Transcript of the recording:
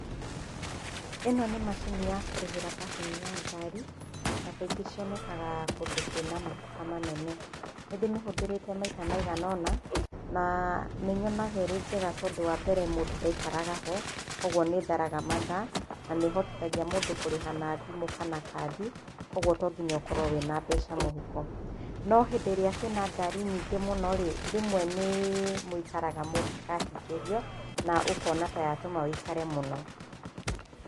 ĩno nĩ macini ya kũrĩhĩra parking ya ngari , na kaingĩ cionekaga kũndũ kwĩna matuka manene, nĩ ndĩmĩhũthĩrĩte maita maigana ona, na nĩ nyonaga ĩrĩ njega tondũ, wa mbere mũndũ ndaikaraga ho, kuguo nĩ ĩtharaga mathaa, na nĩ ĩhotithagia mũndũ kũrĩha na thimũ kana kandi, koguo to mũhaka ũkorwo wĩna mbeca mũhuko, no hĩndĩ ĩrĩa kwĩna ngari nyingĩ mũnorĩ, rĩmwe nĩ mũikaraga mũngĩkahingĩrio na ũkona ta yatũma wĩikare mũno.